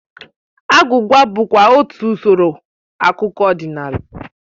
Agwụgwa bụkwa otú usoro akụkọ ọdịnala